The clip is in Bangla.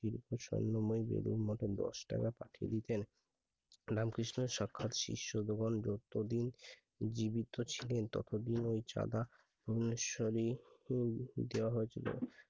স্বর্ণময়ী দেবীর মতে দশ টাকা পাঠিয়ে দিতেন I রামকৃষ্ণের সাক্ষাৎ শিষ্যের শিষ্য গণ যত দিন জীবিত ছিলেন তত দিন ওই চাঁদা দোলেশ্বরী দেয়া হয়ে ছিল